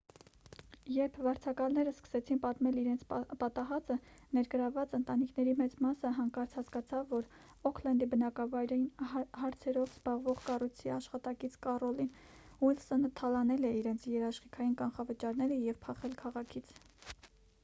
երբ վարձակալները սկսեցին պատմել իրենց պատահածը ներգրավված ընտանիքների մեծ մասը հանկարծ հասկացավ որ օքլենդի բնակարանային հարցերով զբաղվող կառույցի աշխատակից կառոլին ուիլսոնը թալանել է իրենց երաշխիքային կանխավճարները և փախել քաղաքից